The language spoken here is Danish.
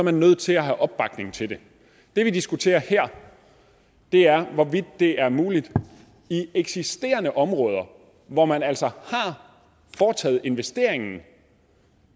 er nødt til at have opbakning til det det vi diskuterer her er hvorvidt det er muligt i eksisterende områder hvor man altså har foretaget investeringen